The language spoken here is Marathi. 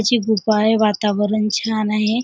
अशी गुफा आहे वातावरण छान आहे.